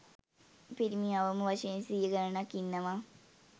පිරිමි අවම වශයෙන් සිය ගණනක් ඉන්නවා.